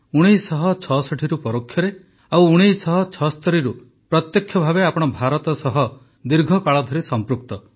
୧୯୬୬ରୁ ପରୋକ୍ଷରେ ଓ ୧୯୭୬ରୁ ପ୍ରତ୍ୟକ୍ଷ ଭାବେ ଆପଣ ଭାରତ ସହ ଦୀର୍ଘକାଳ ଧରି ସମ୍ପୃକ୍ତ